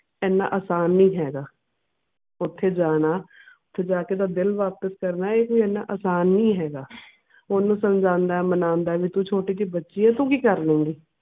ਐਨਾਂ ਆਸਾਨ ਨੀ ਹੈਗਾ ਓਥੇ ਜਾਣਾ ਓਥੇ ਜਾ ਕੇ ਓਹਦਾ ਦਿਲ ਵਾਪਿਸ ਕਰਨਾ ਇਹ ਕੋਈ ਐਨਾਂ ਆਸਾਂ ਨੀ ਹੈਗਾ ਓਹਨੂੰ ਸਮਝਾਉਂਦਾ ਐ ਮਨਾਉਂਦਾ ਐ ਬੀ ਤੂੰ ਛੋਟੀ ਜੀ ਬੱਚੀ ਐਂ ਤੂੰ ਕੀ ਕਰ ਲਏਂਗੀ